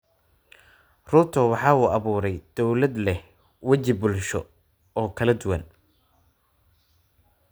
Ruto waxa uu abuuray dawlad leh waji bulsho oo kala duwan.